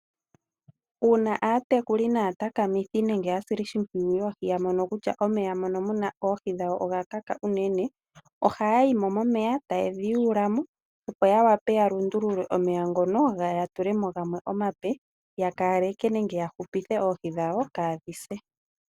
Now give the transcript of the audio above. Uuna aatekuli naatakamithi nenge aasili shimpwiyu yoohi yamono kutya omeya gawo mono muna oohi oga kaka unene, ohaya yimo momeya taye dhi yuulamo opo ya wape yalundulule omeya ngono ya tule mo gamwe omape, yakaleke po nenge yahupithe oohi dhawo kaadhise.